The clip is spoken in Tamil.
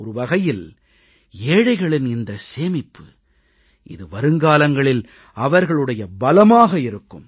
ஒருவகையில் ஏழைகளின் இந்தச் சேமிப்பு இது வருங்காலங்களில் அவர்களுடைய பலமாக இருக்கும்